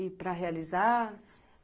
E para realizar?